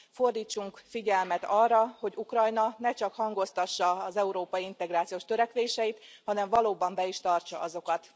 Fordítsunk figyelmet arra, hogy Ukrajna ne csak hangoztassa az európai integrációs törekvéseit, hanem valóban be is tartsa azokat.